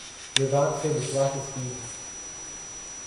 विवाद से विश्वास स्कीम